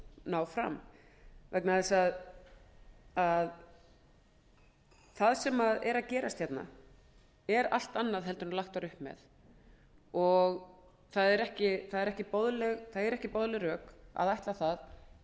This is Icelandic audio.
ná fram það sem er að gerast hérna er allt annað en lagt var upp með það eru ekki boðleg rök að ætla að segja það